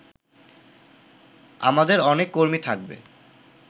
আমাদের অনেক কর্মী থাকবে